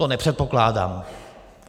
To nepředpokládám.